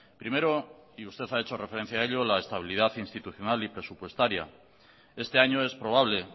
primero y usted ha hecho referencia a ello la estabilidad institucional y presupuestaria este año es probable